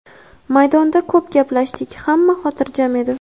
Maydonda ko‘p gaplashdik, hamma xotirjam edi.